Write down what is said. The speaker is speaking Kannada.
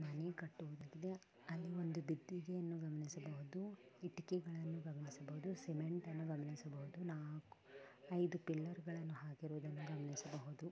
ಮನೆ ಕಟ್ಟುವುದರಿಂದ ಅಲ್ಲಿ ಒಂದು ಬಿದ್ದಿದೆ ಎಂದು ಗಮನಿಸಬಹುದು ಇಟ್ಟಿಗೆಗಳನ್ನು ಗಮನಿಸಬಹುದು ಸಿಮೆಂಟನ್ನು ಗಮನಿಸಬಹುದು ಒಂದು ಕಲರ್ ಗಳನ್ನು ಹಾಕಿರುವುದನ್ನು ಗಮನಿಸಬಹುದು .